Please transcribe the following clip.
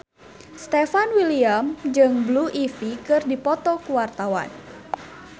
Stefan William jeung Blue Ivy keur dipoto ku wartawan